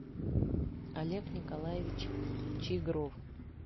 олег николаевич чигров